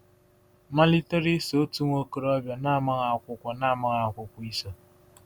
Malitere iso otu nwa okorobịa na-amaghị akwụkwọ na-amaghị akwụkwọ iso.